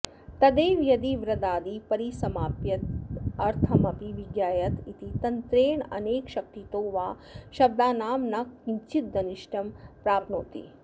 तदेव यदि वृदादिपरिसमाप्त्यर्थमपि विज्ञायत इति तन्त्रेणानेकशक्तितो वा शब्दानां न किञ्चिदनिष्टं प्राप्नोति